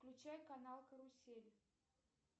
включай канал карусель